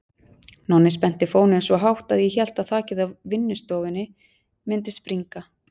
Nonni spennti fóninn svo hátt að ég hélt að þakið á vinnustofunni mundi springa.